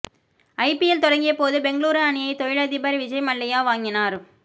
IPL தொடங்கியபோது பெங்களூரு அணியை தொழிலதிபர் விஜய் மல்லையா வாங்கினார்